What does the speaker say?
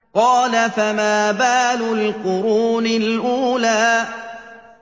قَالَ فَمَا بَالُ الْقُرُونِ الْأُولَىٰ